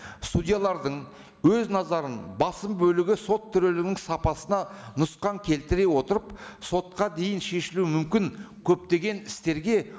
судьялардың өз назарын басым бөлігі сот төрелігінің сапасына нұсқан келтіре отырып сотқа дейін шешілуі мүмкін көптеген істерге